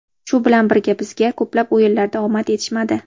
Shu bilan birga bizga ko‘plab o‘yinlarda omad yetishmadi.